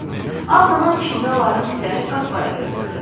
Ağ duman içində onların üzləri qapqara görünürdü.